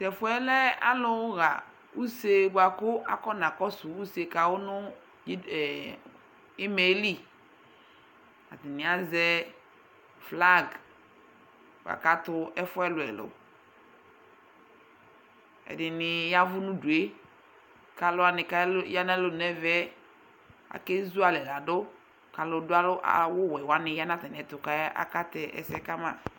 Tʋ ɛfʋ yɛ lɛ alʋɣa use bʋa kʋ akɔnakɔsʋ use ka wʋ nʋ ɩd ee ɩma yɛli Atanɩ azɛ flag la kʋ atʋ ɛfʋ ɛlʋ-ɛlʋ Ɛdɩnɩ ya ɛvʋ nʋ udu yɛ kʋ alʋ wanɩ ya nʋ alɔnu yɛ nʋ ɛfɛ yɛ akezualɛ la dʋ kʋ alʋdʋ awʋwɛ wanɩ ya nʋ atamɩɛtʋ kʋ akatɛ ɛsɛ ka ma